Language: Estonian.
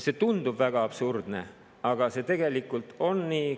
See tundub väga absurdne, aga see tegelikult on nii.